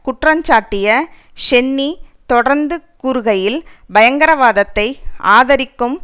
குற்றஞ்சாட்டிய Cheney தொடர்ந்து கூறுகையில் பயங்கரவாதத்தை ஆதரிக்கும்